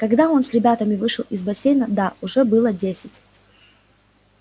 когда он с ребятами вышел из бассейна да уже было десять